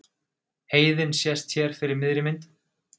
Heiðin sést hér fyrir miðri mynd.